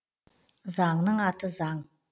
заңның аты заң